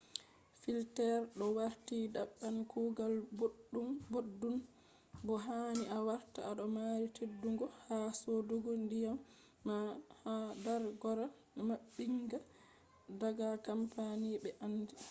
filters do warti daban kugal boddum bo hani a warta ado mari teddungo ha sodugo diyam ma ha dar gora mabbinga daga company be andi